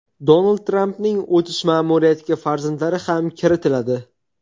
Donald Trampning o‘tish ma’muriyatiga farzandlari ham kiritiladi.